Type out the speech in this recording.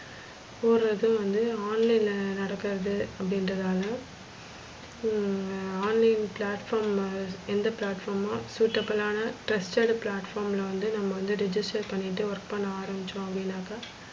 போறது வந்து online ல நடக்குறது அப்டின்றததால online platform எந்த platform suitable லான trusted platform ல வந்து நம்ம வந்து register பண்ணிட்டு work பண்ண ஆரம்பிச்சோ அப்டினாக்க,